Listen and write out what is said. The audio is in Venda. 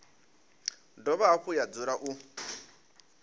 dovha hafhu ya dzula u